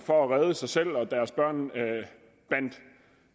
for at redde sig selv og deres børn